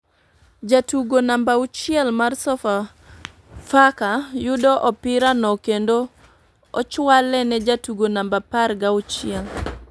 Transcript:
Jatugo namba auchiel mar sofa faka yudo opira no kendo ochwale ne jatugo namba apar ga chuiel ,